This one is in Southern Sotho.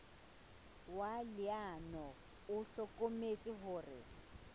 wa leano o hlokometse hore